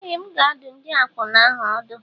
Ee! M ga-adụ ndị akwụna ahụ ọdụ.